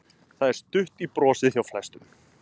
Það er stutt í brosið hjá flestum.